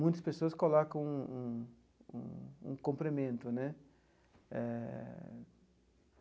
Muitas pessoas colocam um um um complemento né eh.